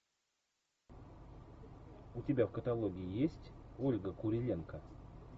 у тебя в каталоге есть ольга куриленко